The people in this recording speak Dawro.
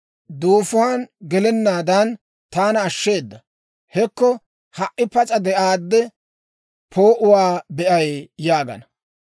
Duufuwan gelennaadan taana ashsheeda; hekko, ha"i pas'a de'aade, poo'uwaa be'ay› yaagana.